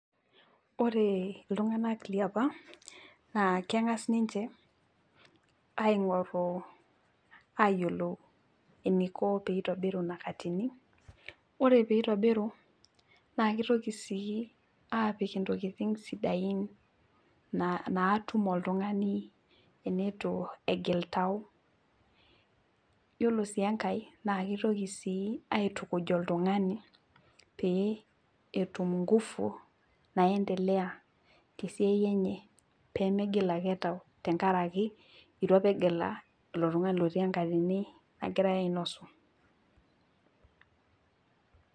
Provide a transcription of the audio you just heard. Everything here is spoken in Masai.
Ore iltunganak liapa naa engas ninche eyiolou eniko tenitobiru ina katini, ore pee eitobiru naa kitoki aapik ntokiting sidain natum oltungani teneitu egil tau. yiolo sii enkae naa kitoki aitukuj oltungani pee etum ngufu naendelea tesiai enye pemegila ake tau tenkaraki eitu apa egelu ilo tungani otii nekatini nagirae ainosie.